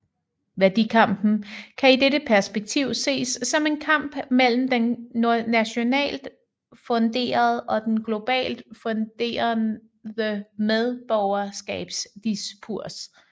Værdikampen kan i dette perspektiv ses som en kamp mellem den nationalt funderede og den globalt funderede medborgerskabsdiskurs